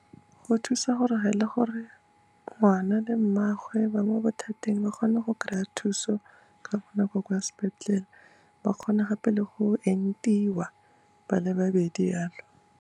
Go thusa gore ga e le gore ngwana le mmagwe ba mo bothateng ba kgone go kry-a thuso ka bonako kwa sepetlele, ba kgone gape le go entiwa ba le babedi jalo.